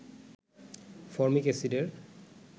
formic এসিডের